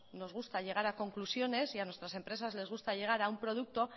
nos gusta llegar a conclusiones y a nuestras empresas les gusta llegar a un producto